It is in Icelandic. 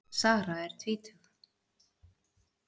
Sara er tvítug.